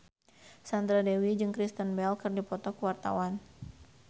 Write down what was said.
Sandra Dewi jeung Kristen Bell keur dipoto ku wartawan